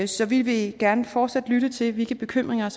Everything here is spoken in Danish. så vi vil gerne fortsat lytte til hvilke bekymringer